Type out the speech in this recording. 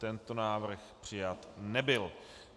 Tento návrh přijat nebyl.